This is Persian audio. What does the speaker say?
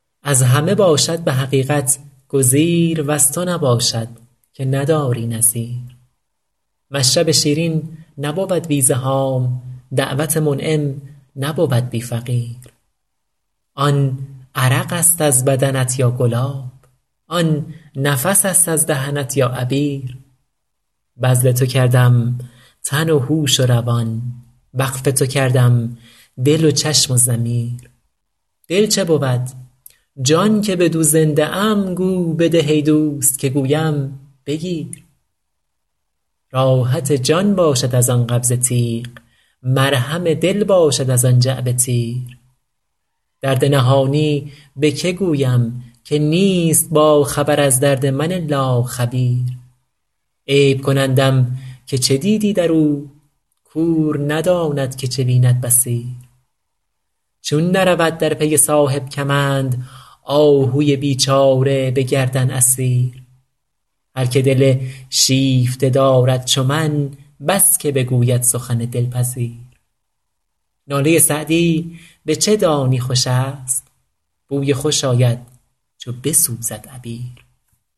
از همه باشد به حقیقت گزیر وز تو نباشد که نداری نظیر مشرب شیرین نبود بی زحام دعوت منعم نبود بی فقیر آن عرق است از بدنت یا گلاب آن نفس است از دهنت یا عبیر بذل تو کردم تن و هوش و روان وقف تو کردم دل و چشم و ضمیر دل چه بود جان که بدو زنده ام گو بده ای دوست که گویم بگیر راحت جان باشد از آن قبضه تیغ مرهم دل باشد از آن جعبه تیر درد نهانی به که گویم که نیست باخبر از درد من الا خبیر عیب کنندم که چه دیدی در او کور نداند که چه بیند بصیر چون نرود در پی صاحب کمند آهوی بیچاره به گردن اسیر هر که دل شیفته دارد چو من بس که بگوید سخن دلپذیر ناله سعدی به چه دانی خوش است بوی خوش آید چو بسوزد عبیر